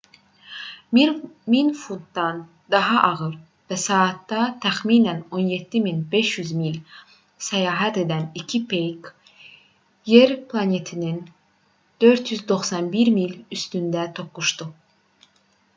1000 funtdan daha ağır və saatda təxminən 17 500 mil səyahət edən iki peyk yer planetinin 491 mil üstündə toqquşdu